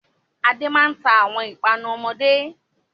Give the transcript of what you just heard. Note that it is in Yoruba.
Adé máa ń ta àwọn ìpanu ọmọdé.